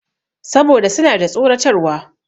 Saboda suna da tsoratarwa.